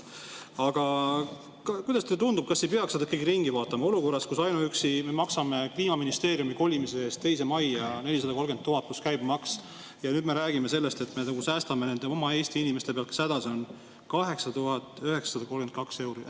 Aga kuidas teile tundub, kas ei peaks selle ikkagi üle vaatama olukorras, kus me maksame ainuüksi Kliimaministeeriumi kolimise eest teise majja 430 000 eurot pluss käibemaks ja nüüd me räägime sellest, et me säästame oma Eesti inimeste pealt, kes hädas on, 8932 euri?